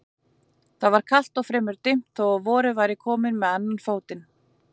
Það var kalt og fremur dimmt þó að vorið væri komið með annan fótinn.